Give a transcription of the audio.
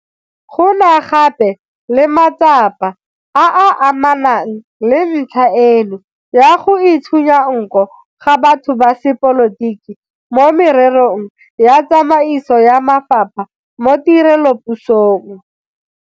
Go na gape le matsapa a a amanang le ntlha eno ya go itshunya nko ga batho ba sepolotiki mo mererong ya tsamaiso ya mafapha mo tirelopusong.